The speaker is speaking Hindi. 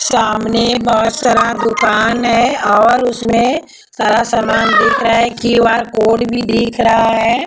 सामने बहुत सारा दुकान है और उसमें सारा सामान दिख रहा है क्यूआर कोड भी दिख रहा है।